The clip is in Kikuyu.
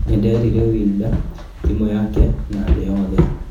Nĩnderire Wilder, timũ yake na thĩ yothe.